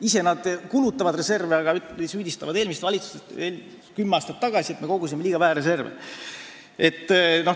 Ise nad kulutavad neid reserve, aga süüdistavad eelmist valitsust, et me kogusime kümme aastat tagasi liiga vähe reserve.